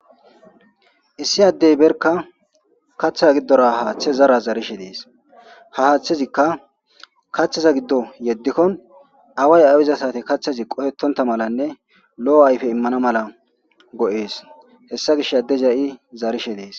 issi addey berka kaththa giddora haaththe zara zarishe dees ha haaththezikka kaththeza giddo yeddikkon away awiza sati kaththezi qohetonta malanne lo7o ayfe immana mala go7ees hessa gish adde za7i zarishe dees